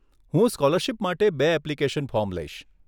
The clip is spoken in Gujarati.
હું સ્કોલરશીપ માટે બે એપ્લિકેશન ફોર્મ લઇશ.